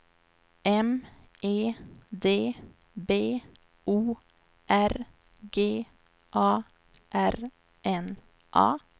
M E D B O R G A R N A